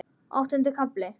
Áttundi kafli